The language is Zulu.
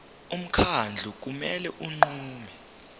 umkhandlu kumele unqume